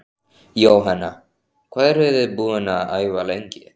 Jóhanna: Hvað eruð þið búin að æfa lengi?